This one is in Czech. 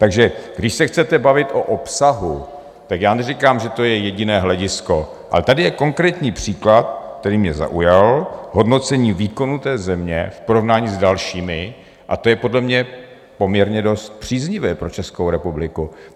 Takže když se chcete bavit o obsahu, tak já neříkám, že to je jediné hledisko, ale tady je konkrétní příklad, který mě zaujal: hodnocení výkonu té země v porovnání s dalšími, a to je podle mě poměrně dost příznivé pro Českou republiku.